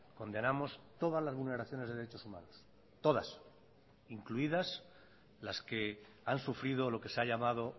condenamos todas las vulneraciones de derechos humanos todas incluidas las que han sufrido lo que se ha llamado